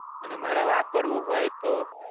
અને મારે વાપરવું હોય તો?